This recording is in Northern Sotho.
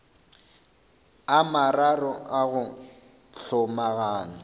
a mararo a go hlomagana